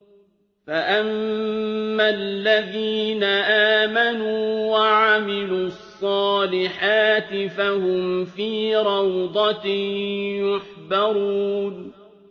فَأَمَّا الَّذِينَ آمَنُوا وَعَمِلُوا الصَّالِحَاتِ فَهُمْ فِي رَوْضَةٍ يُحْبَرُونَ